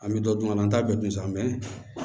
An bɛ dɔ dun an na an t'a bɛɛ dun san